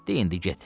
De indi get.